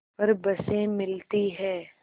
पर बसें मिलती हैं